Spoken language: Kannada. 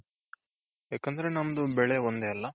ಯಾಕಂದ್ರೆ ನಮ್ದು ಬೆಳೆ ಒಂದೇ ಅಲ್ಲ.